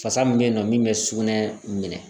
Fasa mun be yen nɔ min be sugunɛ minɛ